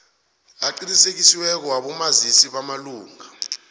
aqinisekisiweko wabomazisi bamalunga